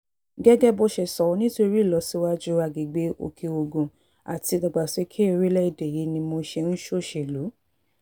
gẹ́gẹ́ bó ṣe sọ nítorí ìlọsíwájú agbègbè òkè-ogun àti ìdàgbàsókè orílẹ̀‐èdè yìí ni mo ṣe ń ṣòṣèlú